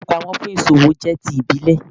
Ilé-ìfowópamọ́ fún ìsòwò jẹ́ ti ìbílẹ̀